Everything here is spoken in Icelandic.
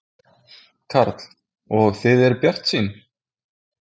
Karl: Og þið eruð bjartsýn?